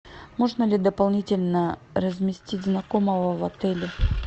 можно ли дополнительно разместить знакомого в отеле